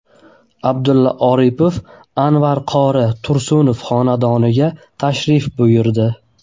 Abdulla Aripov Anvar qori Tursunov xonadoniga tashrif buyurdi.